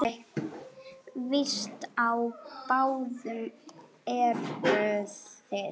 Víst á báðum eruð þið.